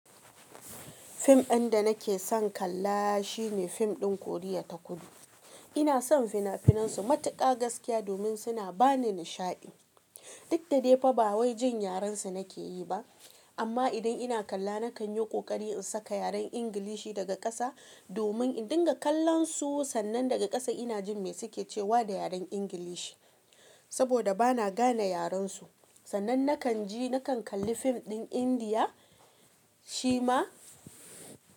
Fim ɗin da nake son kalla shine fim ɗin Koriya ta Kudu. Ina son fina-finan su matuƙa gaskiya domin suna ba ni nishaɗi. Duk da dai fa ba wai jin yaren su nake yi ba amma idan ina kalla nakan yi ƙoƙari in saka yaren Ingilishi daga ƙasa domin in dinga kallon su sannan daga ƙasa ina jin me suke cewa da yaren Ingilishi. Saboda ba na gane yaren su. Sannan nakan ji nakan kalli fim ɗin Indiya, shi ma.